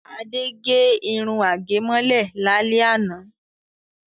Ade gẹ irun àgẹ̀mọ́lẹ̀ lálẹ́ àná.